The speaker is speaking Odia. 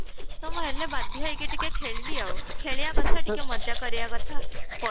ତ ମୁଁ ହେଲେ ବାଧ୍ୟ ହେଇକି ଟିକେ ଖେଳିବି ଆଉ ଖେଳିବା କଥା ଟିକେ ମଜା କରିବା କଥା pho